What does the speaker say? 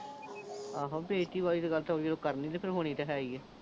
ਆਹੋ, ਬੇਇਜ਼ਤੀ ਵਾਲੀ ਗੱਲ ਕਰਨੀ ਤਾਂ ਫਿਰ ਹੋਣੀ ਹੀ ਐ।